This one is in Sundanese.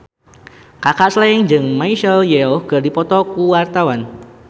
Kaka Slank jeung Michelle Yeoh keur dipoto ku wartawan